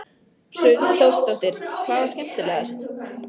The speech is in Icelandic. Hrund Þórsdóttir: Hvað var skemmtilegast?